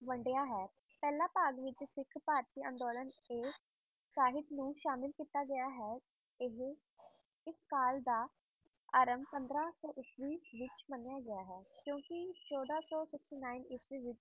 ਵੰਡਿਆ ਹੈ ਪਹਿਲਾ ਭਾਗ ਵਿੱਚ ਸਿੱਖ ਭਾਰਤੀ ਅੰਦੋਲਨ ਇਹ ਸਾਹਿਤ ਨੂੰ ਸ਼ਾਮਿਲ ਕੀਤਾ ਗਿਆ ਹੈ, ਇਹ ਇਸ ਕਾਲ ਦਾ ਆਰੰਭ ਪੰਦਰਾਂ ਸੌ ਈਸਵੀ ਵਿੱਚ ਮੰਨਿਆ ਗਿਆ ਹੈ ਕਿਉਂਕਿ ਚੌਦਾਂ ਸੌ sixty-nine ਈਸਵੀ ਵਿੱਚ